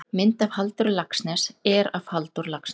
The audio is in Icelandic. mynd af halldóri laxness er af halldór laxness